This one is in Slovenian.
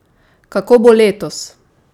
Kako bo letos?